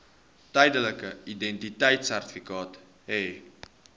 tydelike identiteitsertifikaat hê